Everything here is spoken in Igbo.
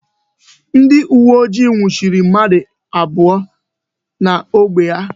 Ndị uwe ojii nwuchiri mmadụ abụọ n'ógbè a.